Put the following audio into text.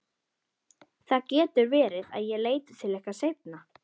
Það getur verið að ég leiti til ykkar seinna.